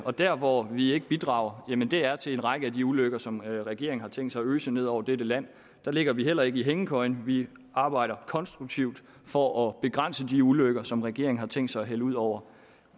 og der hvor vi ikke bidrager er til en række af de ulykker som regeringen har tænkt sig at øse ud over dette land der ligger vi heller ikke i hængekøjen vi arbejder konstruktivt for at begrænse de ulykker som regeringen har tænkt sig at hælde ud over